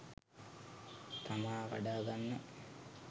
තමා වඩා ගන්න